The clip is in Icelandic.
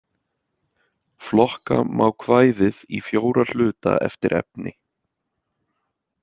Flokka má kvæðið í fjóra hluta eftir efni.